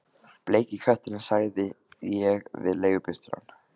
Bleiki kötturinn sagði ég við leigubílstjórann.